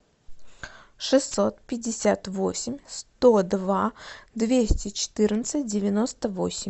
шестьсот пятьдесят восемь сто два двести четырнадцать девяносто восемь